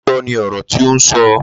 Lóòótọ́ ni ọ̀rọ̀ tí ó ń sọ.